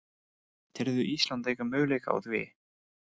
Telurðu Ísland eiga möguleika á því?